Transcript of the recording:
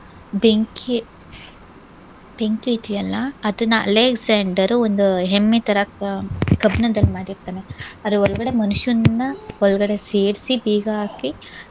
ಬೆಂಕಿ ಬೆಂಕಿ ಇದೆಯಲ್ಲಾ, ಅದನ್ನ ಅಲೆಕ್ಸಾಂಡರ್ ಒಂದು ಹೆಮ್ಮೆ ತರಕ್ಕ ಕಬ್ಣದಲ್ ಮಾಡಿರ್ತಾನೆ. ಅದ್ರ ಒಳ್ಗಡೆ ಮನುಷ್ಯನ್ನ ಒಳ್ಗಡೆ ಸೇರ್ಸಿ ಬೀಗ ಹಾಕಿ